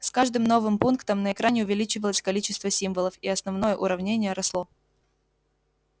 с каждым новым пунктом на экране увеличивалось количество символов и основное уравнение росло